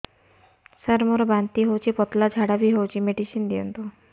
ସାର ମୋର ବାନ୍ତି ହଉଚି ପତଲା ଝାଡା ବି ହଉଚି ମେଡିସିନ ଦିଅନ୍ତୁ